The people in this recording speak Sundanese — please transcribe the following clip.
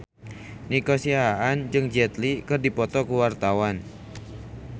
Nico Siahaan jeung Jet Li keur dipoto ku wartawan